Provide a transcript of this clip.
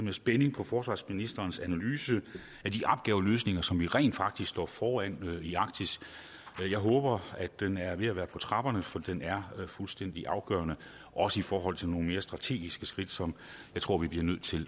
i spænding på forsvarsministerens analyse af de opgaveløsninger som vi rent faktisk står foran i arktis jeg håber den er ved at være på trapperne for den er fuldstændig afgørende også i forhold til nogle mere strategiske skridt som jeg tror vi bliver nødt til